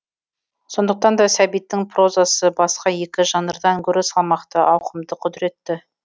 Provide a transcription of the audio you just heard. сондықтан да сәбиттің прозасы басқа екі жанрдан гөрі салмақты ауқымды құдыретті